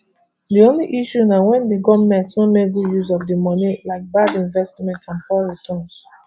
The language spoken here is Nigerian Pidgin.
di only issue na wen di goment no make good use of di money like bad investments and poor return